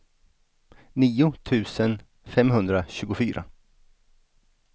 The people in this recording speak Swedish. nio tusen femhundratjugofyra